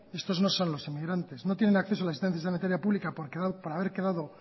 estos no son los inmigrantes no tienen acceso a la instancia sanitaria pública por haber quedado